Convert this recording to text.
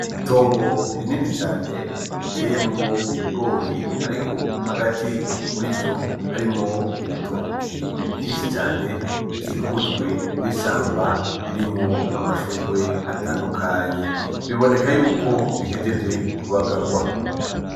Itongo rinini cane riteyemwo ibigori ariko hagati muri vyo harimwo ibitoke vyinshi cane bikikujwe n’ishamba ririmwo amashurwe atandukanye, biboneka yuko bihejeje kubagarwa.